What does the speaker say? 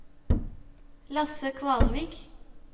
Lasse Kvalvik